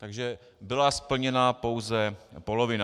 Takže byla splněna pouze polovina.